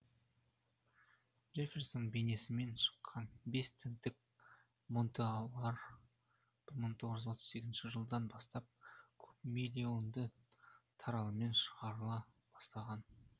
джефферсон бейнесімен шыққан бес центтік монеталар бір мың тоғыз жүз отыз сегізінші жылдан бастап көп миллионды таралымммен шығарыла бастаған